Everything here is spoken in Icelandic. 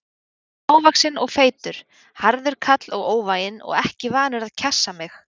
Hann var lágvaxinn og feitur, harður kall og óvæginn og ekki vanur að kjassa mig.